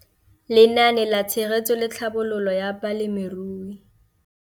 Lenaane la Tshegetso le Tlhabololo ya Balemirui.